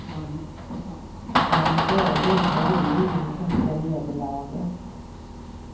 Han rörde inte en min efter nederlaget.